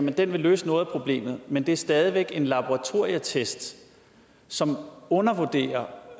at den vil løse noget af problemet men det er stadig væk en laboratorietest som undervurderer